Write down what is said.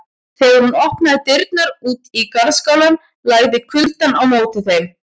Þegar hún opnaði dyrnar út í garðskálann lagði kuldann á móti þeim.